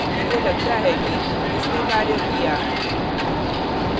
मुझे लगता है कि इसने कार्य किया